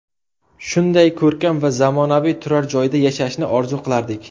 Shunday ko‘rkam va zamonaviy turar joyda yashashni orzu qilardik.